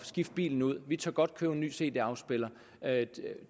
skifte bilen ud de tør godt købe en ny cd afspiller